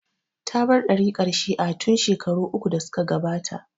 Ta bar ɗariƙar Shi'a tin shekaru uku da suka gabata